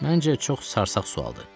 Məncə çox sarsaq sualdır.